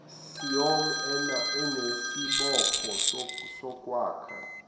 ciom anesibopho sokwakha